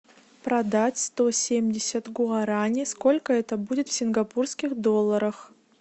продать сто семьдесят гуарани сколько это будет в сингапурских долларах